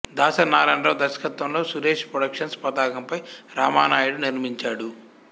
దాసరి నారాయణ రావు దర్శకత్వంలో సురేష్ ప్రొడక్షన్స్ పతాకంపై రామానాయుడు నిర్మించాడు